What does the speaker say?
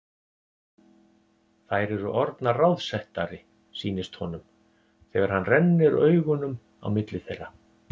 Þær eru orðnar ráðsettari, sýnist honum, þegar hann rennir augunum á milli þeirra.